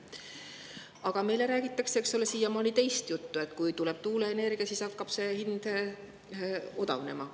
Aga meile räägitakse siiamaani teist juttu, et kui tuleb tuuleenergia, siis hakkab hind odavnema.